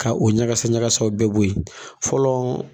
Ka o ɲagasa ɲagasaw bɛɛ bo yen fɔlɔ